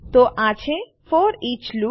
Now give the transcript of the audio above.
તો આ છે ફોરીચ લૂપ